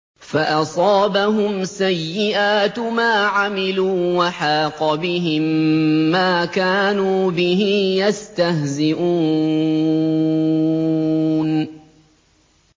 فَأَصَابَهُمْ سَيِّئَاتُ مَا عَمِلُوا وَحَاقَ بِهِم مَّا كَانُوا بِهِ يَسْتَهْزِئُونَ